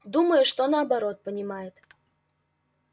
думаю что наоборот понимает